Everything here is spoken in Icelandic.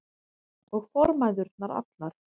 Og formæðurnar allar.